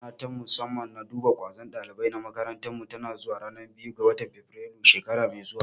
Rana ta musamman na duba ƙwazon ɗalibai na makarantar mu tana zuwa ran biyu ga fabirailu shekara mai zuwa